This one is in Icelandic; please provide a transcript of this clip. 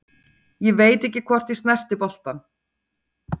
Ég veit ekki hvort ég snerti boltann.